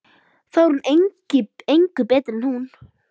Þá er hún engu betri en þau.